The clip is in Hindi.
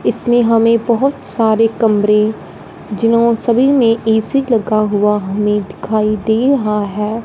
इसमें हमे बहोत सारे कमरे जिन्हो सभी में ए_सी लगा हुआ हमे दिखाई दे रहा है।